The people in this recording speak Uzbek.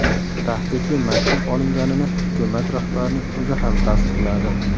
Tahdidli maktub olinganini hukumat rahbarining o‘zi ham tasdiqladi.